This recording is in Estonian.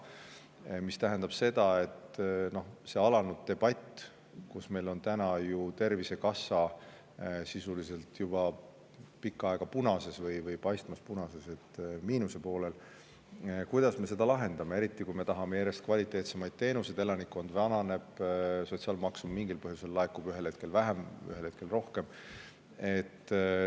Noh, kuna meil on Tervisekassa olnud juba pikka aega sisuliselt punases ehk miinuses, on alanud debatt, kuidas me selle lahendame, eriti kui me tahame saada järjest kvaliteetsemaid teenuseid, aga elanikkond vananeb ja sotsiaalmaksu laekub mingil põhjusel ühel hetkel vähem, ühel hetkel rohkem.